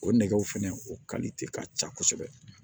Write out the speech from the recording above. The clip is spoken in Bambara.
O nɛgɛw fɛnɛ o kalite ka ca kosɛbɛ